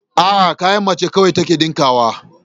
A'a, kayan mace kawai take ɗinkawa